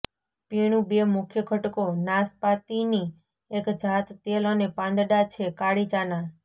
પીણું બે મુખ્ય ઘટકો નાસપાતીની એક જાત તેલ અને પાંદડા છે કાળી ચાના